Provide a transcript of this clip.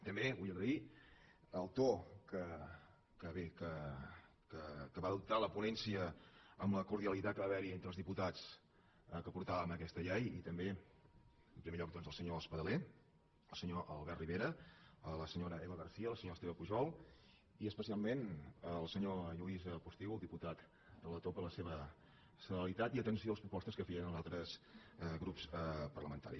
també vull agrair el to que bé que va adoptar la ponència amb la cordialitat que va haver·hi entre els diputats que portàvem aquesta llei i també en primer lloc doncs al senyor espadaler al senyor albert rivera a la senyora eva garcía al senyor esteve pujol i especialment al senyor lluís postigo el diputat relator per la seva celeritat i atenció a les pro·postes que feien els altres grups parlamentaris